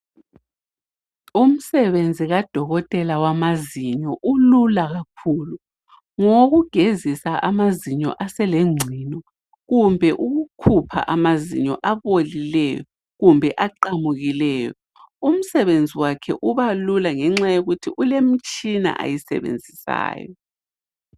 Umsebenzi kadokotela wamazinyo ulula kakhulu ngowokugezisa amazinyo aselengcino kumbe ukukhupha amazinyo abolileyo kumbe aqamukileyo. Umsebenzi wakhe ubalula ngenxa yokuthi ulemtshina ayisebenzisayo.